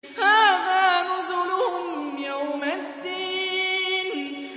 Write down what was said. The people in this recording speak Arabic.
هَٰذَا نُزُلُهُمْ يَوْمَ الدِّينِ